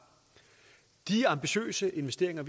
de ambitiøse investeringer